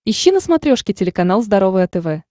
ищи на смотрешке телеканал здоровое тв